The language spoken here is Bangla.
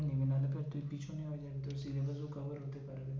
না হলে তোর তুই পেছনে হয়ে যাবি তোর syllabus ও cover হতে পারবে